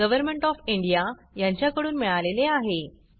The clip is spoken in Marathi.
गव्हरमेण्ट ऑफ इंडिया यांच्याकडून मिळालेले आहे